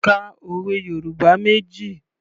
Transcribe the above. Ka òwe Yorùbá méjì.